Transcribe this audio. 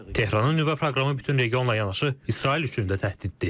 Tehranın nüvə proqramı bütün regionla yanaşı, İsrail üçün də təhdiddir.